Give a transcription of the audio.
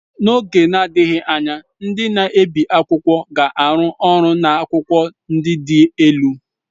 N'oge na-adịghị anya, ndị na-ebi akwụkwọ ga-arụ ọrụ na akwụkwọ ndị dị elu.